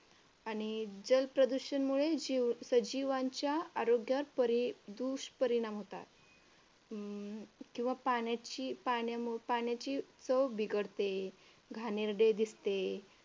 आणि जलप्रदूषणमुळे जीव सजीवांच्या आरोग्यावर परी दुष्परिणाम होतात. किंवा पाण्याची पाण्याची चव बिघडते, घाणेरडे दिसते.